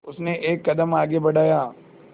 उसने एक कदम आगे बढ़ाया